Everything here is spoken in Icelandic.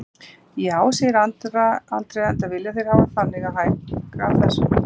Já, segir Andrea, enda vilja þeir hafa það þannig og hækka þessvegna prísana.